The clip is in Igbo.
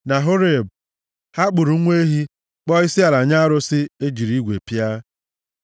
Na Horeb, ha kpụrụ nwa ehi, kpọọ isiala nye arụsị e jiri igwe pịa.